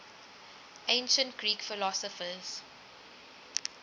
ancient greek philosophers